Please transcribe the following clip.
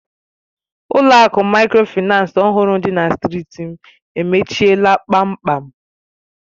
Ụlọ akụ Mikrofaịnsi ọhụrụ dị na strịti m emechiela kpamkpam.